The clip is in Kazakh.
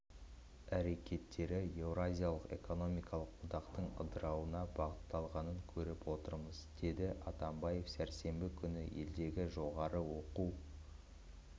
әрекеттері еуразиялық экономикалық одақтың ыдырауына бағытталғанын көріп отырмыз деді атамбаев сәрсенбі күні елдегі жоғары оқу